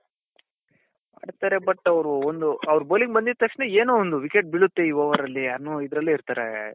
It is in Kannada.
ಮಾಡ್ತಾರೆ but ಅವ್ರು ಒಂದು ಅವರು bowling ಬಂದಿದ್ ತಕ್ಷಣ ಏನೋ ಒಂದು wicket ಬಿಳುತ್ತೆ ಈ overರಲ್ಲಿ ಅನ್ನೋ ಇದ್ರಲ್ಲೆ ಇರ್ತಾರೆ .